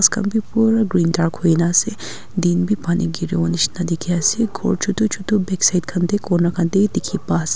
ghas khan bi pura green dark huina ase din bi pani giriwonishina dikhiase khor chutu chutu backside khan tae corner khan tae dikhipa ase.